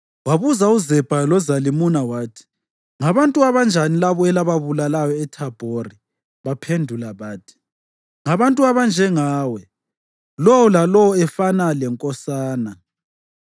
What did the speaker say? Wabuza uZebha loZalimuna wathi, “Ngabantu abanjani labo elababulalayo eThabhori?” Baphendula bathi, “Ngabantu abanjengawe, lowo lalowo efana lenkosana.”